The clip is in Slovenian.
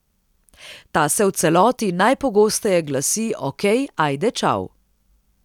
Ta se v celoti najpogosteje glasi okej ajde čau.